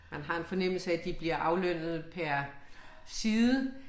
Man har en fornemmelse af at de blive aflønnet per side